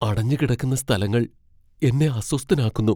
അടഞ്ഞു കിടക്കുന്ന സ്ഥലങ്ങൾ എന്നെ അസ്വസ്ഥനാക്കുന്നു.